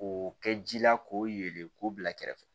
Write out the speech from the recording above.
K'o kɛ ji la k'o yelen k'o bila kɛrɛfɛ